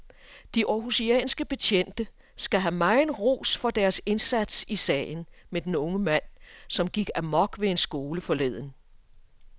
De århusianske betjente skal have megen ros for deres indsats i sagen med den unge mand, som gik amok ved en skole forleden.